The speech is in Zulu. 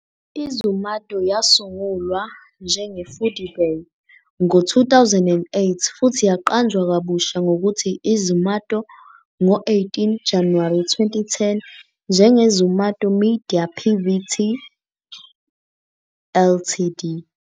I-Zomato yasungulwa njenge- "Foodiebay" ngo-2008, futhi yaqanjwa kabusha ngokuthi i- "Zomato" ngo-18 January 2010 njenge-Zomato Media Pvt. Ltd.